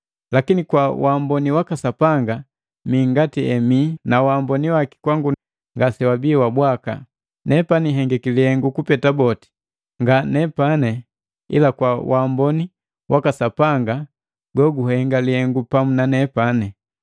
Lakini kwa waamboni waka Sapanga, mii ngati emii na waamboni waki kwangu ngasewabii bwaka. Nepani hengiki lihengu kupeta boti, nga nepani, ila kwa waamboni waka Sapanga goguhenga lihengu pamu nanepani.